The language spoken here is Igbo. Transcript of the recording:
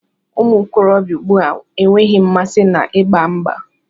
Umuokorobia ùgbúà enweghị mmasị na ịgba mgbà.